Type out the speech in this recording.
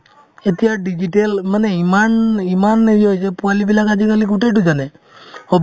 এতিয়া digital মানে ইমান ইমান হেৰি হৈছে পোৱালিবিলাক আজিকালি গোটেইতো জানে hobby